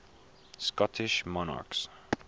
scottish monarchs